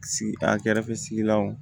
Sigi a kɛrɛfɛ sigilanw